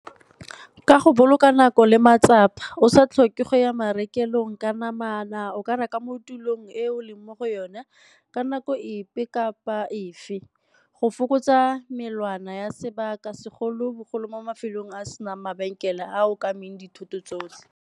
Ka go boloka nako le matsapa o sa tlhoke go ya marekelong ka namana o ka reka mo tulong e o leng mo go yone ka nako epe kapa efe. Go fokotsa melawana ya sebaka segolobogolo mo mafelong a a senang mabenkele a o dithoto tsotlhe.